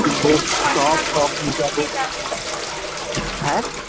কিনবো সব শখ মিটাবো হ্যা?